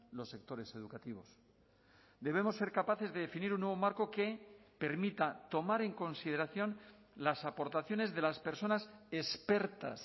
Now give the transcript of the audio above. los sectores educativos debemos ser capaces de definir un nuevo marco que permita tomar en consideración las aportaciones de las personas expertas